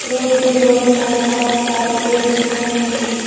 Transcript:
Road के दोनों side बहोत सारे पेड़ दिख रहे हैं।